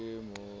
be e le ho mo